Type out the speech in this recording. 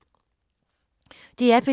DR P2